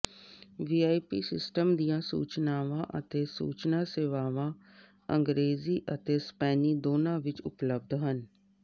VIP system ਦੀਆਂ ਸੂਚਨਾਵਾਂ ਅਤੇ ਸੂਚਨਾ ਸੇਵਾਵਾਂ ਅੰਗਰੇਜ਼ੀ ਅਤੇ ਸਪੇਨੀ ਦੋਨਾਂ ਵਿਚ ਉਪਲਬਧ ਹਨ